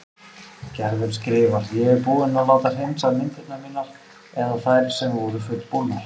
Gerður skrifar: Ég er búin að láta hreinsa myndirnar mínar eða þær sem voru fullbúnar.